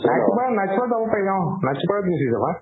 night super ত night super ত যাব পাৰি অ night super ত গুচি যাবা